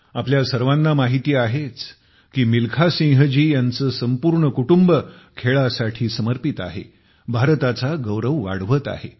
आपल्या सर्वांना माहिती आहेच की मिल्खा सिंहजी यांचे संपूर्ण कुटुंब खेळाविषयी समर्पित आहे भारताचा गौरव वाढवत आहे